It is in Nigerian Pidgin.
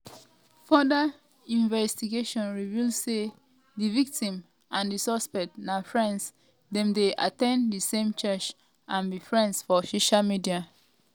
further investigation reveal say di victim and di suspect na friends dem dey at ten d di same church and be friends for social media.